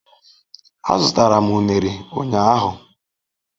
Azụtara m unere ụnyahụ.